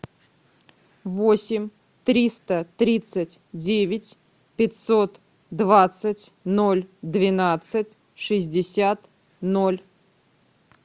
восемь триста тридцать девять пятьсот двадцать ноль двенадцать шестьдесят ноль